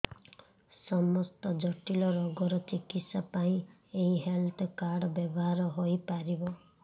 ସମସ୍ତ ଜଟିଳ ରୋଗର ଚିକିତ୍ସା ପାଇଁ ଏହି ହେଲ୍ଥ କାର୍ଡ ବ୍ୟବହାର ହୋଇପାରିବ